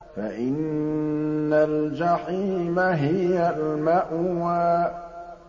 فَإِنَّ الْجَحِيمَ هِيَ الْمَأْوَىٰ